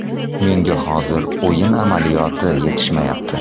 Menga hozir o‘yin amaliyoti yetishmayapti.